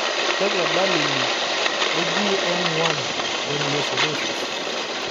kakwa dalili e GM1 gangliosidosis?